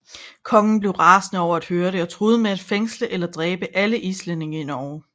Kongen blev rasende over at høre det og truede med at fængsle eller dræbe alle islændinge i Norge